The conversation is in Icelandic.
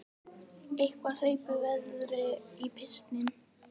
Eitthvað hleypir veðri í pilsin